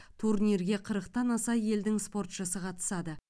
турнирге қырықтан аса елдің спортшысы қатысады